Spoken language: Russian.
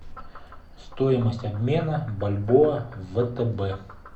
стоимость обмена бальбоа в втб